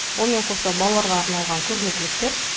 онымен қоса балаларға арналған көрнекіліктер